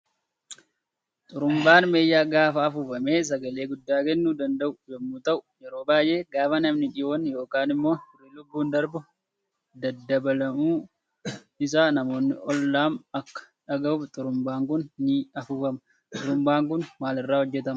Xurumbaan meeshaa gaafa afuufame sagalee gudda kennuu danda'u yommuu ta'uu yeroo baay'ee gaafa namni dhiyoon yookaan immo firri lubbuun darbu baddalamuu isa namni ollam Akka dhagahuuf xurumbaan Kun nii afuufama. Xurumbaan Kun maal irra hojjetama?